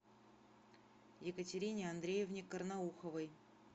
екатерине андреевне карнауховой